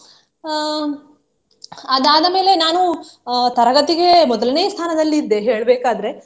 ಅಹ್ ಅದಾದ ಮೇಲೆ ನಾನು ಅಹ್ ತರಗತಿಗೆ ಮೊದಲನೇ ಸ್ಥಾನದಲ್ಲಿದ್ದೆ ಹೇಳ್ಬೇಕಾದ್ರೆ.